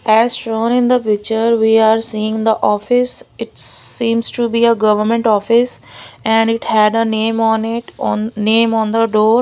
as shown in the picture we are seeing the office it seems to be a government office and it had a name on it on name on the door.